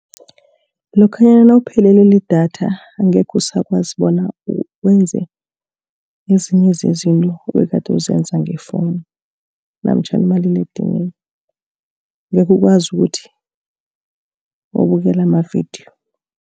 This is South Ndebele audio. Lokhanyana nawuphelelwe lidatha, angekhe usakwazi bona wenze ezinye zezinto, ebegade ukuzenza nge-phone, namtjhana umaliledinini. Angekhe ukwazi ukuthi ubukele amavidiyo.